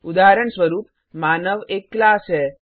उदाहरणस्वरूप मानव एक क्लास है